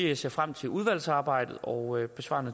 jeg ser frem til udvalgsarbejdet og jeg besvarer